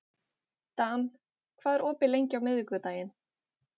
Dan, hvað er opið lengi á miðvikudaginn?